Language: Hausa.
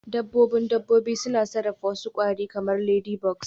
Dabbobin dabbobi suna sarrafa wasu kwari kamar ladybugs